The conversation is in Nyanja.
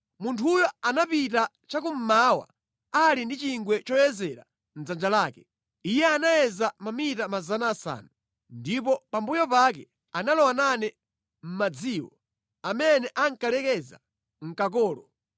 Munthuyo anapita chakummawa ali ndi chingwe choyezera mʼdzanja lake. Iye anayeza mamita 500, ndipo pambuyo pake analowa nane mʼmadziwo amene ankalekeza mʼkakolo.